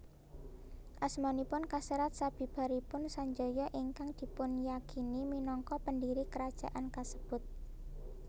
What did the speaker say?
Asmanipun kaserat sabibaripun Sanjaya ingkang dipunyakini minangka pendiri kerajaan kasebut